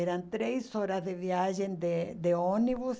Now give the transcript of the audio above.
Eram três horas de viagem de de ônibus.